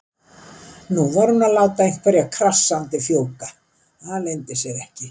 Nú var hún að láta einhverja krassandi fjúka, það leyndi sér ekki.